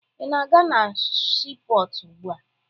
Ị na-aga na siipọọtụ ugbua?